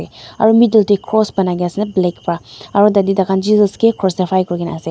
aru middle te cross banai kene ase na black para aru tate tai khan jesus ke crucify kuri ne ase.